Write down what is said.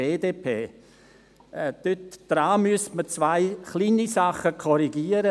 Diesen müsste man in zwei kleinen Dingen korrigieren.